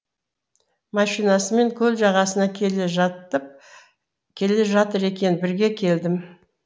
машинасымен көл жағасына келе жатыр екен бірге келдім